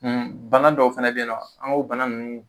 Bagan dɔw fɛnɛ be ye nɔn an k'o bana nunnu